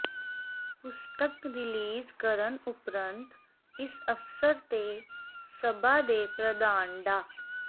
ਪੁਸਤਕ ਰਿਲੀਜ਼ ਕਰਨ ਉਪਰੰਤ ਇਸ ਅਵਸਰ ਤੇ ਸਭਾ ਦੇ ਪ੍ਰਧਾਨ ਡਾ